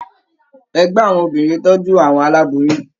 Ẹgbẹ àwọn obìnrin tọjú àwọn aláboyún.